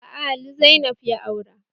Aa, Ali Zainab ya aura